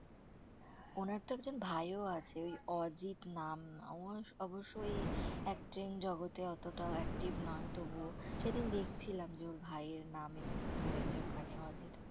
ওনার তো একজন ভাইও আছে, অজিত নাম। ওর অবশ্য ওই acting জগতে অতটাও active নয় তবুও, সেদিন দেখছিলাম যে ওর ভাইয়ের নামে রয়েছে ওখানে, অজিত।